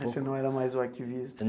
Você não era mais o arquivista?